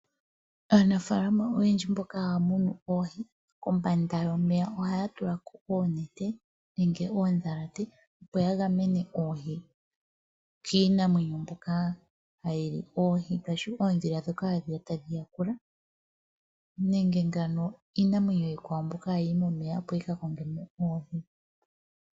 Aanafaalama oyendji mboka haya munu oohi kombanda yomeya ohaya tulako oonete nenge oondhalate opo yagamene oohi kiinamwenyo mbyoka hayili oohi ngaashi oondhila ndhoka hadhiya tadhi yakula ,nenge ngaa iinamwenyo iikwawo mbyoka hayiyi momeya opo yi kakongemo oohi.